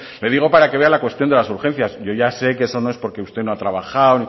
le digo para que vea la cuestión de las urgencias yo ya sé que eso no es porque usted no ha trabajado